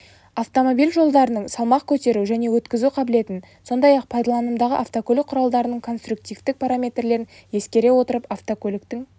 автомобиль жолдарының салмақ көтеру және өткізу қабілетін сондай-ақ пайдаланымдағы автокөлік құралдарының конструктивтік параметрлерін ескере отырып автокөліктің